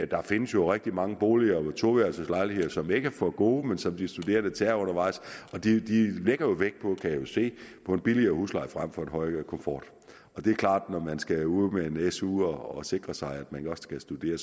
der findes jo rigtig mange boliger toværelses lejligheder som ikke er for gode men som de studerende tager undervejs og de lægger vægt på kan jeg jo se en billigere husleje frem for en høj komfort det er klart at når man skal ud med en su og sikre sig at man nu også kan studere